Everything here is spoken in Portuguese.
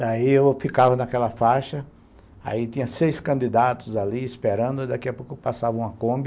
Daí eu ficava naquela faixa, aí tinha seis candidatos ali esperando, daqui a pouco passava uma Kombi,